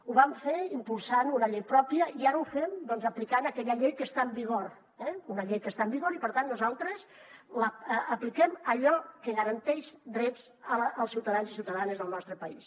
ho vam fer impulsant una llei pròpia i ara ho fem aplicant aquella llei que està en vigor una llei que està en vigor i per tant nosaltres apliquem allò que garanteix drets als ciutadans i ciutadanes del nostre país